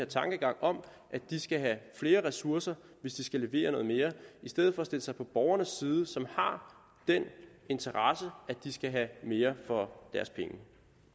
tankegangen om at de skal have flere ressourcer hvis de skal levere noget mere i stedet for at stille sig på borgernes side som har interesse i at de skal have mere for deres penge